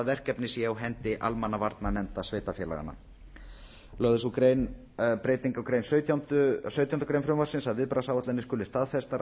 verkefni sé á hendi almannavarnanefnda sveitarfélaganna lögð er til sú breyting á sautjándu grein frumvarpsins að viðbragðsáætlanir skuli staðfestar